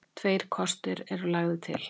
Tveir kostir eru lagðir til.